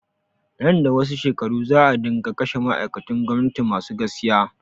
Nan da wasu shekaru za a dinga kashe ma'aikatun gwamnati masu gaskiya